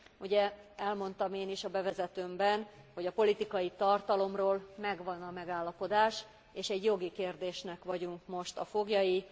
Ugye elmondtam én is a bevezetőmben, hogy a politikai tartalomról megvan a megállapodás és egy jogi kérdésnek vagyunk most a foglyai.